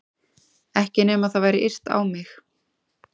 Ekki nema það væri yrt á mig.